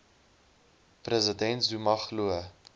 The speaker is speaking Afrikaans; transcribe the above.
president zuma glo